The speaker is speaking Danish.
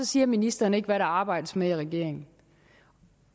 siger ministeren ikke hvad der arbejdes med i regeringen